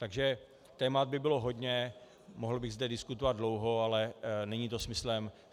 Takže témat by bylo hodně, mohl bych zde diskutovat dlouho, ale není to smyslem.